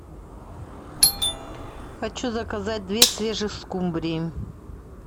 хочу заказать две свежих скумбрии